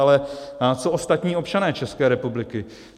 Ale co ostatní občané České republiky?